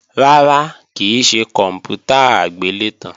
Rárá, kì í ṣe kòǹpútà agbélétan